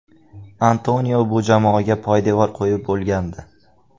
Antonio bu jamoaga poydevor qo‘yib bo‘lgandi.